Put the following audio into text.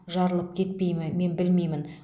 жарылып кетпей ме мен білмеймін